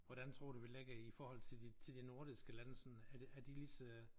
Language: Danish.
Hvordan tror du vi ligger i forhold til de til de nordiske lande sådan er de er de lige så